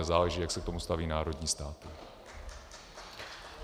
A záleží, jak se k tomu staví národní státy.